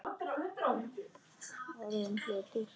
Orðinn hlutur.